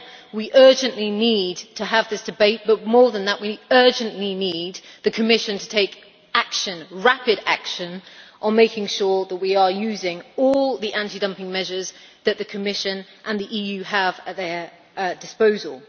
We urgently need to have this debate, but more than that we urgently need the Commission to take rapid action to make sure that we are using all the anti dumping measures that the Commission and the EU have at their disposal.